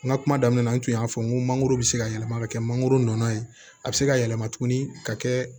N ka kuma daminɛ na n kun y'a fɔ n ko mangoro bɛ se ka yɛlɛma ka kɛ mangoro nɔnɔ ye a bɛ se ka yɛlɛma tuguni ka kɛ